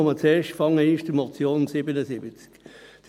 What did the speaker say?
Ich komme zuerst zur Motion zu Traktandum 77 .